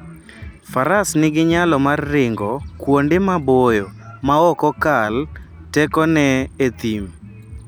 Faras nigi nyalo mar ringo kuonde maboyo maok okal tekone e thim.